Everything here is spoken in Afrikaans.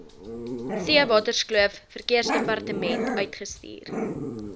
theewaterskloof verkeersdepartement uitstuur